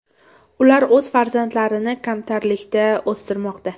Ular o‘z farzandlarini kamtarlikda o‘stirmoqda.